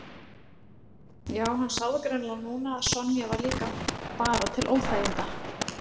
Já, hann sá það greinilega núna að Sonja var líka bara til óþæginda.